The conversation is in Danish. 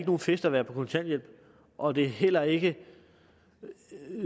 nogen fest at være på kontanthjælp og det er heller ikke